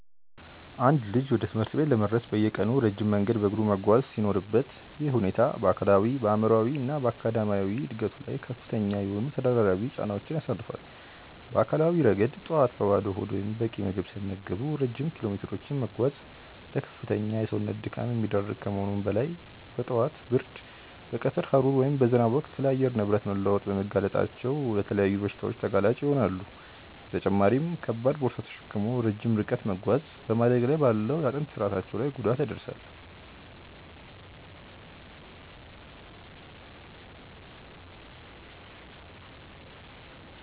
አንድ ልጅ ወደ ትምህርት ቤት ለመድረስ በየቀኑ ረጅም መንገድ በእግሩ መጓዝ ሲኖርበት፣ ይህ ሁኔታ በአካላዊ፣ በአእምሯዊ እና በአካዳሚያዊ ዕድገቱ ላይ ከፍተኛ የሆኑ ተደራራቢ ጫናዎችን ያሳርፋል። በአካላዊ ረገድ፣ ጠዋት በባዶ ሆድ ወይም በቂ ምግብ ሳይመገቡ ረጅም ኪሎሜትሮችን መጓዝ ለከፍተኛ የሰውነት ድካም የሚዳርግ ከመሆኑም በላይ፣ በጠዋት ብርድ፣ በቀትር ሐሩር ወይም በዝናብ ወቅት ለአየር ንብረት መለዋወጥ በመጋለጣቸው ለተለያዩ በሽታዎች ተጋላጭ ይሆናሉ፤ በተጨማሪም ከባድ ቦርሳ ተሸክሞ ረጅም ርቀት መጓዝ በማደግ ላይ ባለው የአጥንት ስርአታቸው ላይ ጉዳት ያደርሳል።